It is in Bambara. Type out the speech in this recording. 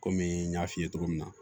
Komi n y'a f'i ye cogo min na